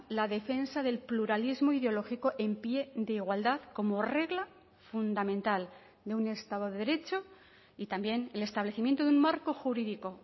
la defensa del pluralismo ideológico en pie de igualdad como regla fundamental de un estado de derecho y también el establecimiento de un marco jurídico